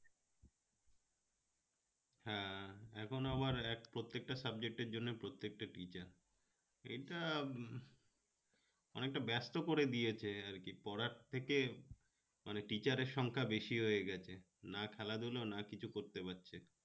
এখন আবার প্রত্যেকটা এর জন্য প্রত্যেকটা teacher এটা অনেকটা ব্যস্ত করে দিয়েছ আরকি পড়ার থেকে মানে teacher এর সংখ্যা বেশি হয়ে গেছে না খেলাধুলা না কিছু করতে পারছে